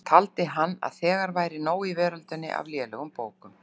Taldi hann að þegar væri nóg í veröldinni af lélegum bókum.